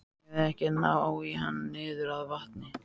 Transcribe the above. Eigum við ekki að ná í hann niður að vatni?